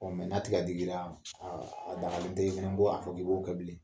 Ɔ n'a tɛ ka digi i la a dagalen tɛ ko a fɔ k'i b'o kɛ bilen